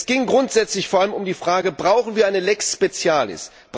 Es ging grundsätzlich vor allem um die Frage Brauchen wir eine lex specialis